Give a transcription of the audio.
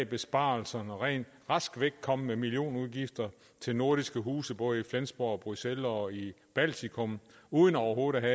besparelser rask væk kom med millionudgifter til nordiske huse både i flensborg bruxelles og i baltikum uden overhovedet at